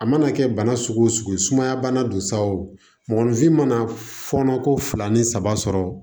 A mana kɛ bana sugu o sugu ye sumaya bana don sa o mɔgɔninfin mana fɔɔnɔ ko fila ni saba sɔrɔ